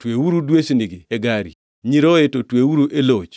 Tweuru dwesnigi e gari, nyiroye to tweuru e loch.